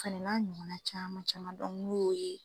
O fana n'a ɲɔgɔn na caman caman n'o ye.